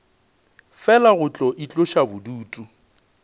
fela go tlo itloša bodutu